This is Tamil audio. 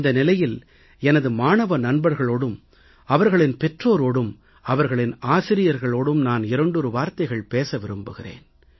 இந்த நிலையில் எனது மாணவ நண்பர்களோடும் அவர்களின் பெற்றோரோடும் அவர்களின் ஆசிரியர்களோடும் நான் இரண்டொரு வார்த்தைகள் பேச விரும்புகிறேன்